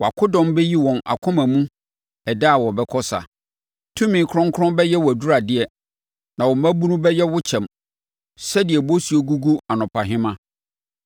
Wʼakodɔm bɛyi wɔn akoma mu ɛda a wobɛkɔ sa. Tumi kronkron bɛyɛ wʼaduradeɛ na wo mmabunu bɛba wo nkyɛn sɛdeɛ bosuo gugu anɔpahema.